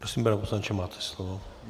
Prosím, pane poslanče, máte slovo.